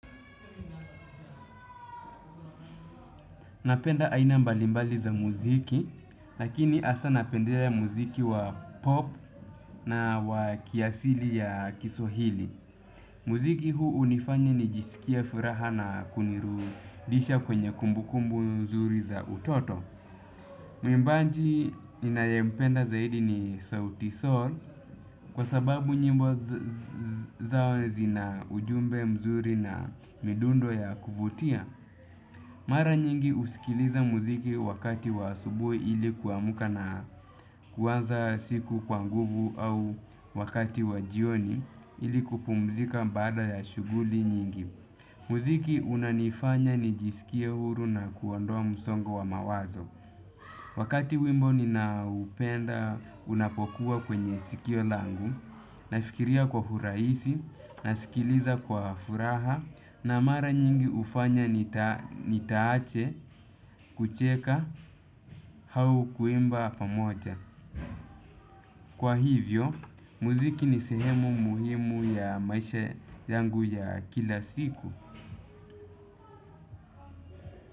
Napenda aina mbalimbali za muziki, lakini hasa napendelea muziki wa pop na wa kiasili ya kiswahili. Muziki huu hunifanya nijisikie furaha na kunirudisha kwenye kumbukumbu nzuri za utoto. Muimbaji ninayempenda zaidi ni sauti sol, kwa sababu nyimbo zao zina ujumbe mzuri na midundo ya kuvutia. Mara nyingi husikiliza muziki wakati wa asubuhi ili kuamka na kuanza siku kwa nguvu au wakati wa jioni ili kupumzika baada ya shughuli nyingi. Muziki unanifanya nijisikie huru na kuondoa msongo wa mawanzo. Wakati wimbo ninaopenda unapokuwa kwenye sikio langu, nafikiria kwa urahisi, nasikiliza kwa furaha na mara nyingi hufanya nitaache kucheka au kuimba pamoja. Kwa hivyo, muziki ni sehemu muhimu ya maisha yangu ya kila siku.